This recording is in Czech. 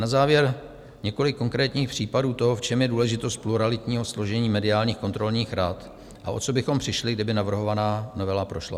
Na závěr několik konkrétních případů toho, v čem je důležitost pluralitního složení mediálních kontrolních rad a o co bychom přišli, kdyby navrhovaná novela prošla.